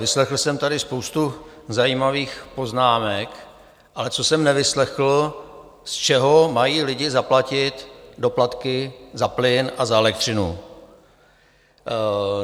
Vyslechl jsem tady spoustu zajímavých poznámek, ale co jsem nevyslechl, z čeho mají lidi zaplatit doplatky za plyn a za elektřinu.